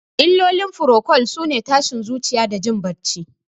Illolin furokol sune tashin zuciya da jin bacci.